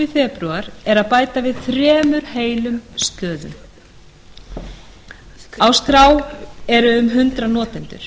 febrúar hefði að lágmarki þurft að bæta við þremur heilum stöðum á skrá eru um hundrað notendur